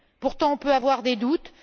Pourtant, on peut avoir des doutes.